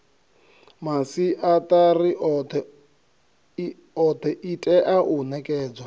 masiatari othe itea u nekedzwa